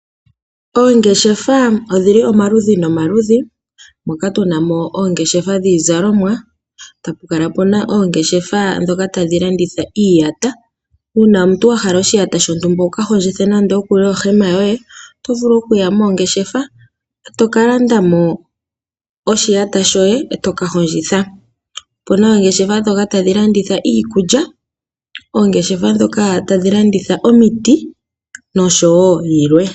Oongeshefa odhi li omaludhi nomaludhi. Moka tu na mo oongeshefa dhiizalomwa, e tapu kala pu na oongeshefa ndhoka tadhi landitha iiyata. Uuna omuntu wa hala oshiyata shontumba wu ka hondjithe nando ohema yoye oto vulu okuya moongeshefa e to ka landa mo oshiyata shoye e to ka hondjitha. Opu na oongeshefa ndhoka tadhi landitha iikulya, oongeshefa ndhoka tadhi landitha omiti noshowo yilwe.